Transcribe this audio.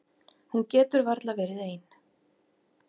Hún getur varla verið ein.